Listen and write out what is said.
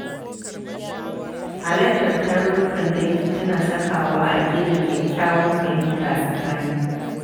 Halartar tarurrukan dangi tana sakawa a gina kyakkyawar fahimta a tsakani.